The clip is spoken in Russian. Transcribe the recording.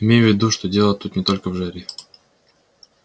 имей в виду что дело тут не только в жаре